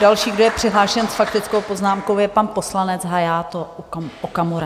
Další, kdo je přihlášen s faktickou poznámkou, je pan poslanec Hayato Okamura.